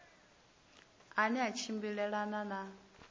a ne a tshimbilelana na